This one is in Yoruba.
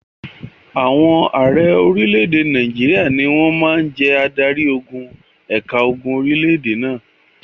Àwọn ààrẹ orílẹ̀-èdè Nàìjíríà ni wọ́n máa ń jẹ́ adarí-ogun ẹ̀ka ogun orílẹ̀-èdè náà.